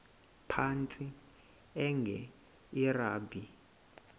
phantsi enge lrabi